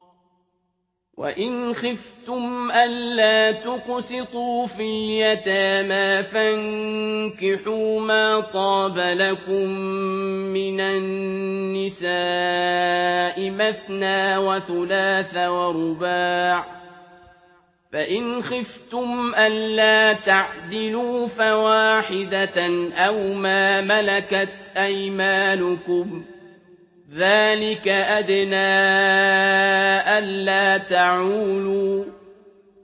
وَإِنْ خِفْتُمْ أَلَّا تُقْسِطُوا فِي الْيَتَامَىٰ فَانكِحُوا مَا طَابَ لَكُم مِّنَ النِّسَاءِ مَثْنَىٰ وَثُلَاثَ وَرُبَاعَ ۖ فَإِنْ خِفْتُمْ أَلَّا تَعْدِلُوا فَوَاحِدَةً أَوْ مَا مَلَكَتْ أَيْمَانُكُمْ ۚ ذَٰلِكَ أَدْنَىٰ أَلَّا تَعُولُوا